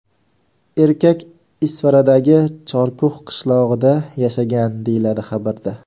Erkak Isfaradagi Chorkux qishlog‘ida yashagan, deyiladi xabarda.